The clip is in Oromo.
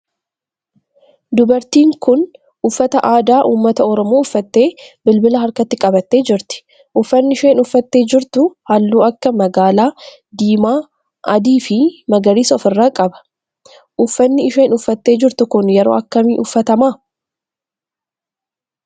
Dubartiin tun uffata aadaa ummata oromoo uffattee bilbila harkatti qabattee jirti. Uffanni isheen uffattee jirtu halluu akka magaala, diimaa, adii fi magariisa of irraa qaba. Uffanni isheen uffattee jirtu kun yeroo akkamii uffatama?